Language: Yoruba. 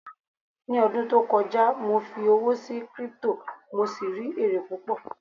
ní ọdún tí o kọjá, mo fi owó sí crypto, mo sì rí ere púpò